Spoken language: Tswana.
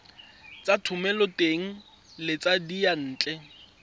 tsa thomeloteng le tsa diyantle